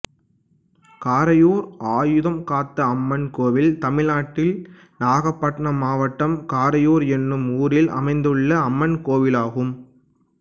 காரையூர் ஆயுதம்காத்த அம்மன் கோயில் தமிழ்நாட்டில் நாகப்பட்டினம் மாவட்டம் காரையூர் என்னும் ஊரில் அமைந்துள்ள அம்மன் கோயிலாகும்